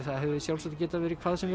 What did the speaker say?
það hefði sjálfsagt getað verið hvað sem